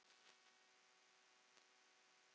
Elsku Einar stóri frændi.